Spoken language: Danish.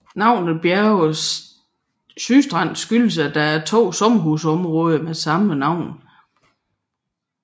Navnet Bjerge Sydstrand skyldes at der er to sommerhusområder med samme navn